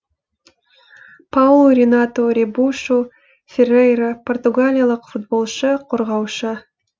паулу ренату ребушу феррейра португалиялық футболшы қорғаушы